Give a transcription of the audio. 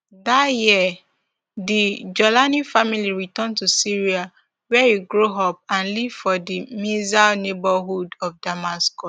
dat year di jawlani family return to syria wia e grow up and live for di mezzeh neighbourhood of damascus